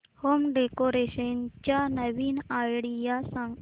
home decoration च्या नवीन idea सांग